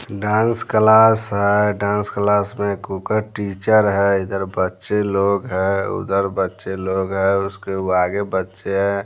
Dance class है dance class में कुकर टीचर है इधर बच्चे लोग है उधर बच्चे लोग है उसके आगे बच्चे हैं।